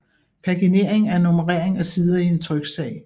Paginering er nummerering af sider i en tryksag